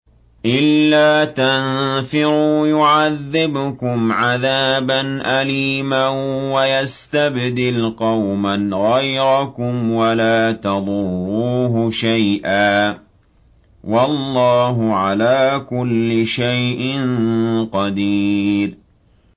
إِلَّا تَنفِرُوا يُعَذِّبْكُمْ عَذَابًا أَلِيمًا وَيَسْتَبْدِلْ قَوْمًا غَيْرَكُمْ وَلَا تَضُرُّوهُ شَيْئًا ۗ وَاللَّهُ عَلَىٰ كُلِّ شَيْءٍ قَدِيرٌ